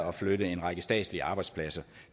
at flytte en række statslige arbejdspladser